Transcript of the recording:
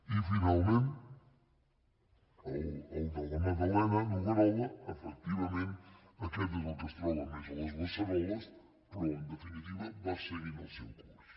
i finament el de la magdalenanoguerola efectivament aquest és el que es troba més a les beceroles però en definitiva va seguint el seu curs